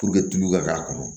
Puruke tulu ka k'a kɔnɔ